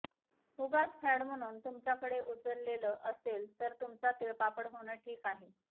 उगाच फॅड म्हणून तुमच्याकडे उचललं असेल तर तुमचा तिळपापड होणं ठीक आहे